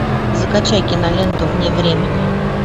закачай киноленту вне времени